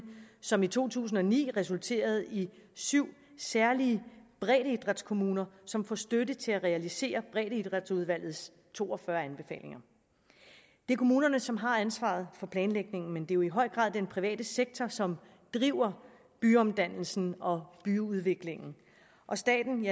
som i to tusind og ni resulterede i syv særlige breddeidrætskommuner som får støtte til at realisere breddeidrætsudvalgets to og fyrre anbefalinger det er kommunerne som har ansvaret for planlægningen men det er jo i høj grad den private sektor som driver byomdannelsen og byudviklingen og staten